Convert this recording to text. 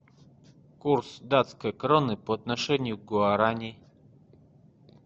курс датской кроны по отношению к гуарани